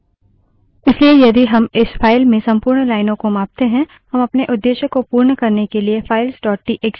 इसलिए यदि हम इस file में संपूर्ण लाइनों को मापते हैं हम अपने उद्देश्य को पूर्ण करने के लिए files dot TXT files txt का उपयोग कर सकते हैं